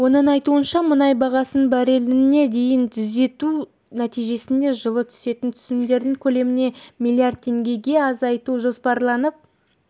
оның айтуынша мұнай бағасын барреліне дейін түзету нәтижесінде жылы түсетін түсімдердің көлемін миллиард теңгеге азайту жоспарланып